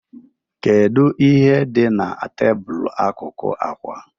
Kedu ihe dị na tebụl akụkụ àkwà?